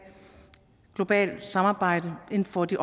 globalt samarbejde inden for de